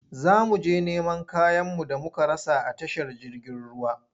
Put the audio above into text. Za mu je neman kayanmu da muka rasa a tashar jirgin ruwa.